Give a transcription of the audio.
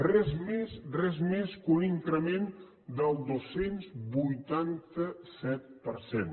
res més res més que un increment del dos cents i vuitanta set per cent